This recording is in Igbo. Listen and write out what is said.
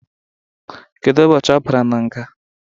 Kedụ ụbọchị ọ bara nga?